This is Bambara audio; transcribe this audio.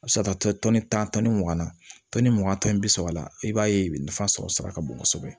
A bɛ se ka taa to tan ni mugan na tɔni mugan tɔni bi saba la i b'a ye nafa sɔrɔ sira ka bon kosɛbɛ